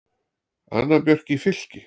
Anna Björk í Fylki.